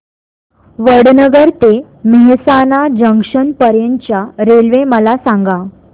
वडनगर ते मेहसाणा जंक्शन पर्यंत च्या रेल्वे मला सांगा